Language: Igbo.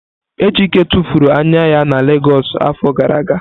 Ejike tụfuru anya ya na Legọs afọ gara aga.